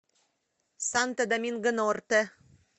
санто доминго норте